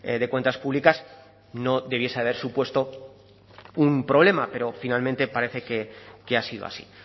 de cuentas públicas no debiese haber supuesto un problema pero finalmente parece que ha sido así